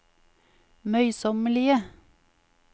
møysommelige